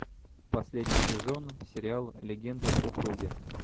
последний сезон сериал легенды о круге